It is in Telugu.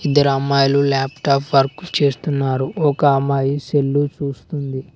ఇద్దరమ్మాయిలు లాప్టాప్ వర్కు చేస్తున్నారు ఒక అమ్మాయి సెల్లు చూస్తుంది.